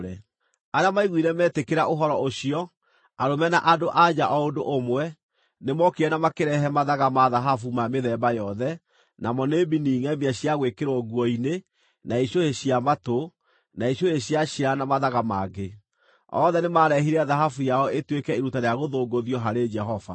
Arĩa maiguire metĩkĩra ũhoro ũcio, arũme na andũ-a-nja o ũndũ ũmwe, nĩmookire na makĩrehe mathaga ma thahabu ma mĩthemba yothe: namo nĩ mbini ngʼemie cia gwĩkĩrwo nguo-inĩ, na icũhĩ cia matũ, na icũhĩ cia ciara na mathaga mangĩ. Othe nĩmarehire thahabu yao ĩtuĩke iruta rĩa gũthũngũthio harĩ Jehova.